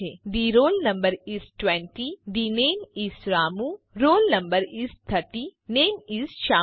the roll no is 20 the name is Ramu roll no is 30 name is Shyamu